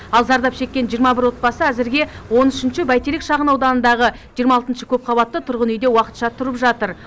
ал зардап шеккен жиырма бір отбасы әзірге он үшінші бәйтерек шағын ауданындағы жиырма алтыншы көпқабатты тұрғын үйде уақытша тұрып жатыр